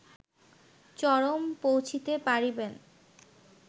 চরম পৌঁছিতে পারিবেন